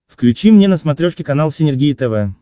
включи мне на смотрешке канал синергия тв